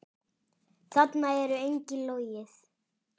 Þarna er engu logið.